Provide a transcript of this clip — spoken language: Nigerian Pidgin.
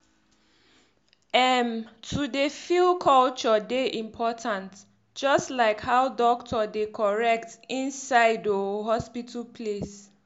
erm to dey feel culture dey important jus like how dokto dey correct inside oohh hospital place.